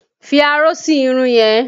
Fi aró sí irun yẹn!